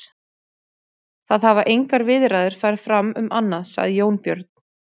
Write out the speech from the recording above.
Það hafa engar viðræður farið fram um annað, sagði Jón Björn.